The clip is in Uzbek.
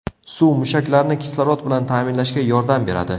Suv mushaklarni kislorod bilan ta’minlashga yordam beradi.